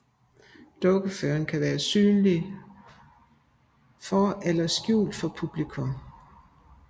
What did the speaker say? Dukkeføreren kan være synlig for eller skjult for publikum